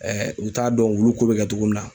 u t'a dɔn wulu ko bɛ kɛ cogo min na